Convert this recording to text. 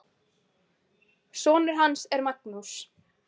Sonur hans er Magnús.